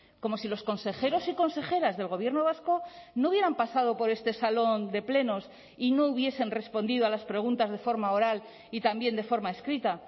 como si los consejeros y consejeras del gobierno vasco no hubieran pasado por este salón de plenos y no hubiesen respondido a las preguntas de forma oral y también de forma escrita